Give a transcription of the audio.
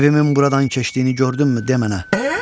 Evimin buradan keçdiyini gördünmü de mənə.